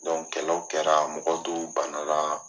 kɛlɛw kɛra mɔgɔ dow bana la.